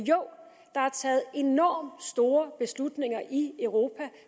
der er taget enormt store beslutninger i europa